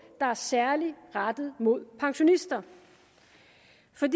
der er særligt rettet mod pensionister